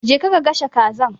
Je ka ka gasha Kazar.